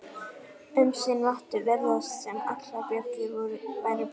Um sinn mátti virðast sem allar bjargir væru bannaðar.